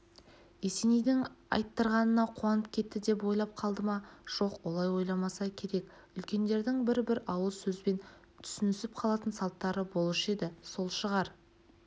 есенейдің айттырғанына қуанып кетті деп ойлап қалды ма жоқ олай ойламаса керек үлкендердің бір-бір ауыз сөзбен түсінісіп қалатын салттары болушы еді сол шығар